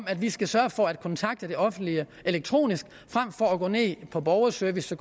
at vi skal sørge for at kontakte det offentlige elektronisk frem for at gå ned på borgerservice